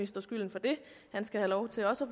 skylden for det han skal have lov til også